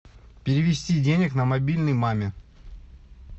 перевести денег на мобильный маме